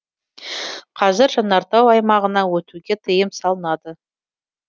қазір жанартау аймағына өтуге тыйым салынады